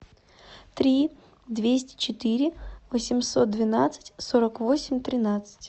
три двести четыре восемьсот двенадцать сорок восемь тринадцать